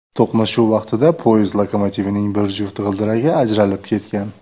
To‘qnashuv vaqtida poyezd lokomotivining bir juft g‘ildiragi ajralib ketgan.